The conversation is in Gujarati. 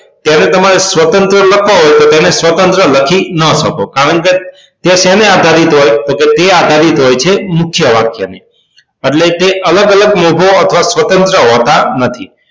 તેને તમારે સ્વતંત્ર લખવા હોય તો તેને સ્વતંત્ર લખી ન શકો કારણ કે તે શેને આધારિત હોય તો કે તે આધારિત હોય છે મુખ્ય વાક્યને એટલે કે તે અલગ અલગ લોકો અથવા સ્વતંત્ર હોતા નથી